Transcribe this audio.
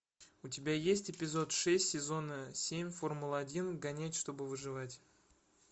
у тебя есть эпизод шесть сезон семь формула один гонять чтобы выживать